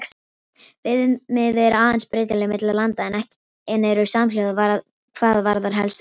Viðmið eru aðeins breytileg milli landa en eru samhljóða hvað varðar helstu atriði.